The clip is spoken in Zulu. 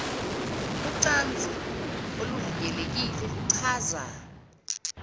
ucansi oluvikelekile kuchaza